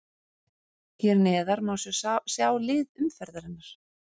Hér neðar má svo sjá lið umferðarinnar.